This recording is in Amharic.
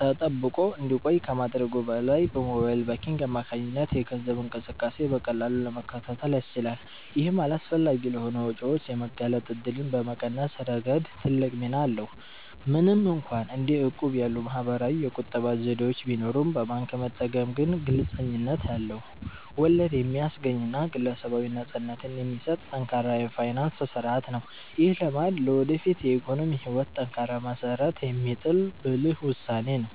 ተጠብቆ እንዲቆይ ከማድረጉም በላይ፣ በሞባይል ባንኪንግ አማካኝነት የገንዘብ እንቅስቃሴን በቀላሉ ለመከታተል ያስችላል። ይህም አላስፈላጊ ለሆኑ ወጪዎች የመጋለጥ እድልን በመቀነስ ረገድ ትልቅ ሚና አለው። ምንም እንኳን እንደ እቁብ ያሉ ማኅበራዊ የቁጠባ ዘዴዎች ቢኖሩም፣ በባንክ መጠቀም ግን ግልጽነት ያለው፣ ወለድ የሚያስገኝና ግለሰባዊ ነፃነትን የሚሰጥ ጠንካራ የፋይናንስ ሥርዓት ነው። ይህ ልማድ ለወደፊት የኢኮኖሚ ሕይወት ጠንካራ መሠረት የሚጥል ብልህ ውሳኔ ነው።